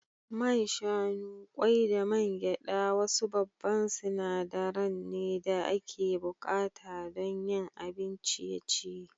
Man shanu, kwai da man gyada wasu babba sinadaran ne da ake bukata don yin abin ciye-ciye.